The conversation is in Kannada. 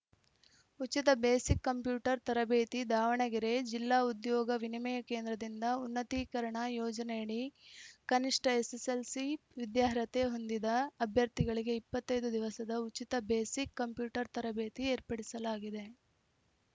ಉಚಿತ ಬೇಸಿಕ್‌ ಕಂಪ್ಯೂಟರ್‌ ತರಬೇತಿ ದಾವಣಗೆರೆ ಜಿಲ್ಲಾ ಉದ್ಯೋಗ ವಿನಿಮಯ ಕೇಂದ್ರದಿಂದ ಉನ್ನತೀಕರಣ ಯೋಜನೆಯಡಿ ಕನಿಷ್ಠ ಎಸ್ಸೆಸ್ಸೆಲ್ಸಿ ವಿದ್ಯಾರ್ಹತೆ ಹೊಂದಿದ ಅಭ್ಯರ್ಥಿಗಳಿಗೆ ಇಪ್ಪತ್ತ್ ಐದು ದಿವಸದ ಉಚಿತ ಬೇಸಿಕ್‌ ಕಂಪ್ಯೂಟರ್‌ ತರಬೇತಿ ಏರ್ಪಡಿಸಲಾಗಿದೆ